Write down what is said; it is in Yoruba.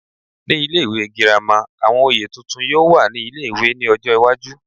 Ní ilé ìwé girama, àwọn oyè tuntun yóò wà ní ilé-ìwé ní ọjọ́ iwájú